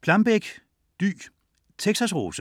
Plambeck, Dy: Texas' rose